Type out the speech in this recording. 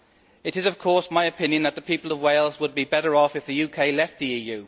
It is, of course, my opinion that the people of Wales would be better off if the UK left the EU.